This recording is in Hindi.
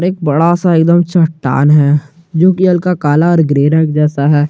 एक बड़ा सा एकदम चट्टान है जोकि हल्का काला और ग्रे रंग जैसा है।